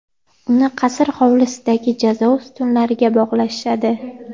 Uni qasr hovlisidagi jazo ustunlariga bog‘lashadi.